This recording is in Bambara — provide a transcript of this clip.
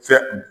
Fɛ